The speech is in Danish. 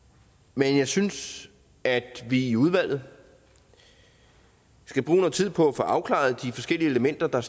men jeg synes at vi i udvalget skal bruge noget tid på at få afklaret de forskellige elementer der